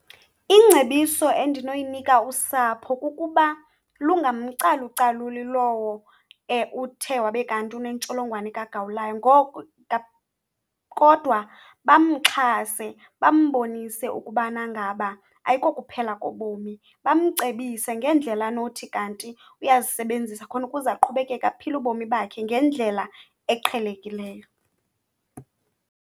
Ingcebiso endinoyinika usapho kukuba lungamcalucaluli lowo uthe wabe kanti unentsholongwane kagawulayo, kodwa bamxhase bambonise ukubana ngaba ayikokuphela kobomi, bamcebise ngendlela anothi kanti uyazisebenzisa khona ukuze aqhubekeke aphile ubomi bakhe ngendlela eqhelekileyo.